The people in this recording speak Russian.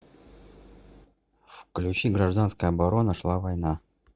включи гражданская оборона шла война